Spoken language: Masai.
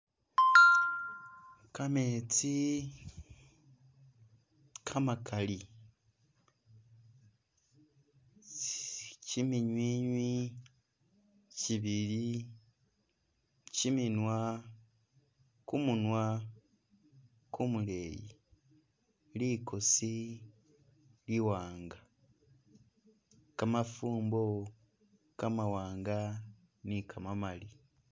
Kametsi kamakali, kiminywiinywi kibili kiminwa kumunwa kumuleeyi, likoosi liwanga, kamafumbo kamawanga ni kamamali.